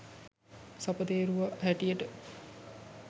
සපතේරුව හැටියට